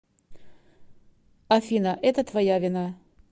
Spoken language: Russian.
афина это твоя вина